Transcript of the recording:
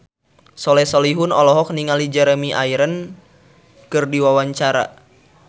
Soleh Solihun olohok ningali Jeremy Irons keur diwawancara